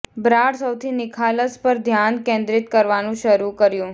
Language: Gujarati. બ્રાડ સૌથી નિખાલસ પર ધ્યાન કેન્દ્રિત કરવાનું શરૂ કર્યું